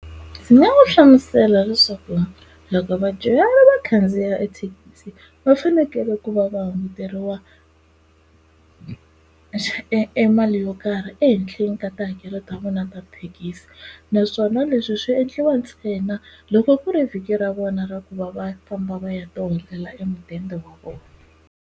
Ndzi nga mu hlamusela leswaku loko vadyuhari va khandziya ethekisi va fanekele ku va va hunguteriwa e e mali yo karhi ehenhleni ka tihakelo ta vona ta thekisi naswona leswi swi endliwa ntsena loko ku ri vhiki ra vona ra ku va va famba va ya ti holela e mudende wa vona.